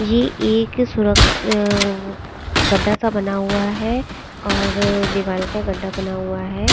ये एक सुरंग आ गड्ढा सा बना हुआ है और दीवाल का गड्ढा बना हुआ है।